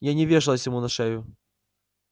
я не вешалась ему на шею